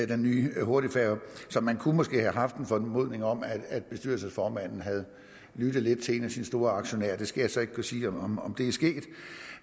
den nye hurtigfærge så man kunne måske have haft en formodning om at bestyrelsesformanden havde lyttet lidt til en af sine store aktionærer det skal jeg så ikke kunne sige om